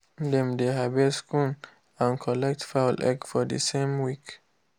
dem dey harvest corn and collect fowl egg for the same week.